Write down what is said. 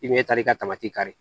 I bɛ taa i ka taamati kari